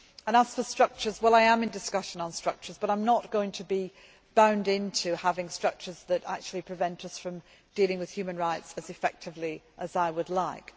As for structures, I am in discussion on structures, but I am not going to be bound into having structures that actually prevent us from dealing with human rights as effectively as I would like.